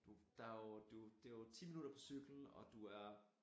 Du der jo du det jo 10 minutter på cykel og du er